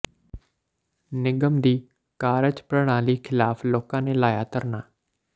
ਨਿਗਮ ਦੀ ਕਾਰਜ ਪ੍ਰਣਾਲੀ ਖ਼ਿਲਾਫ਼ ਲੋਕਾਂ ਨੇ ਲਾਇਆ ਧਰਨਾ